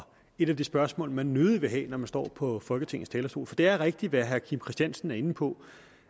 et af de spørgsmål man nødig vil have når man står på folketingets talerstol for det er rigtigt hvad herre kim christiansen er inde på